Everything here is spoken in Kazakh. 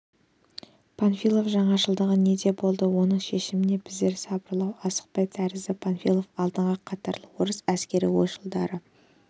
панфилов жаңашылдығы неде болды оның шешімінше біздер сылбырлау асыққан тәріздіміз панфилов алдыңғы қатарлы орыс әскери ойшылдары